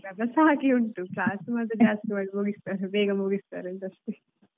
Syllabus ಹಾಗೆ ಉಂಟು class ಮಾತ್ರ ಜಾಸ್ತಿ ಮಾಡಿ ಮುಗಿಸ್ತಾರೆ ಬೇಗ ಮುಗಿಸ್ತಾರೆಂತ ಅಷ್ಟೆ.